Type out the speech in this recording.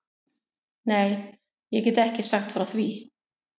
Nei, ég get ekki sagt frá því.